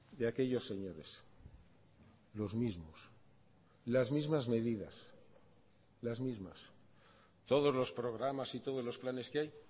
de aquellos señores los mismos las mismas medidas las mismas todos los programas y todos los planes que hay